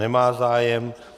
Nemá zájem.